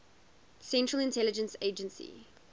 central intelligence agency